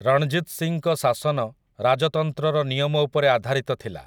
ରଣଜିତ୍ ସିଂଙ୍କ ଶାସନ ରାଜତନ୍ତ୍ରର ନିୟମ ଉପରେ ଆଧାରିତ ଥିଲା ।